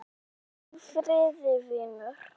Hvíl í friði, vinur.